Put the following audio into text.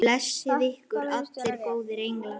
Blessi ykkur allir góðir englar.